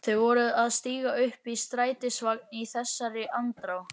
Þau voru að stíga upp í strætisvagn í þessari andrá.